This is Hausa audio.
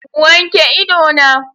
Wanke ido na!